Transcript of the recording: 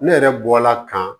Ne yɛrɛ bɔla ka